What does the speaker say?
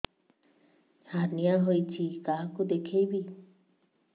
hernia ହୋଇଛି କାହାକୁ ଦେଖେଇବି